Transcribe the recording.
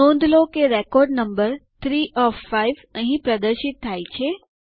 નોંધ લો કે રેકોર્ડ નમ્બર 3 ઓએફ 5 અંહિ પ્રદર્શિત થાય છે